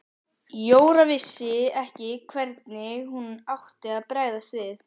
Jóra vissi ekki hvernig hún átti að bregðast við.